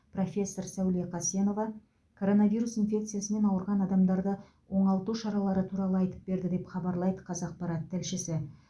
профессор сәуле қасенова коронавирус инфекциясымен ауырған адамдарды оңалту шаралары туралы айтып берді деп хабарлайды қазақпарат тілшісі